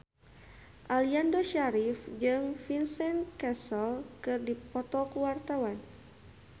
Aliando Syarif jeung Vincent Cassel keur dipoto ku wartawan